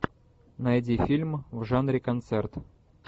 найди фильм в жанре концерт